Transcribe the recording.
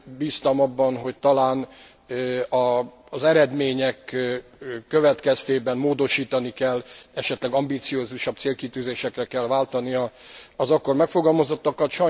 Bíztam abban, hogy talán az eredmények következtében módosítani kell, esetleg ambiciózusabb célkitűzésekre kell váltani az akkor megfogalmazottakat.